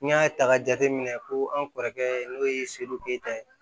N y'a ta k'a jateminɛ ko an kɔrɔkɛ n'o ye keta ye